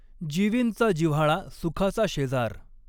जिवींचा जिव्हाळा सुखाचा शॆजार.